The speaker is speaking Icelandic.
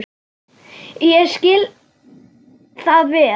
Ég skil það vel.